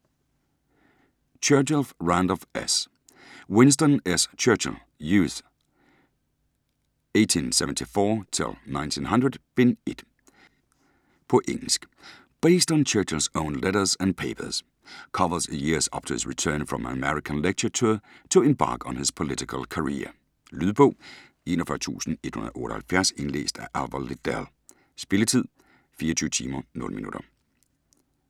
Churchill, Randolph S.: Winston S. Churchill: Youth, 1874-1900: Bind 1 På engelsk. Based on Churchill's own letters and papers; covers the years up to his return from an American lecture tour to embark on his political career. Lydbog 41178 Indlæst af Alvar Lidell. Spilletid: 24 timer, 0 minutter.